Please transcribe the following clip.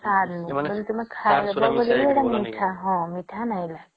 ତାର ନୁ ତୁମେ ଖାଇବା ବୋଲେ ହଁ ସେଟା ମିଠା ନାଇଁ ଲାଗି